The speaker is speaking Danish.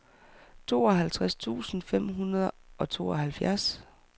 tooghalvtreds tusind fem hundrede og tooghalvfjerds